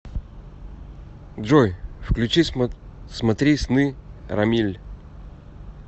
джой включи смотри сны рамиль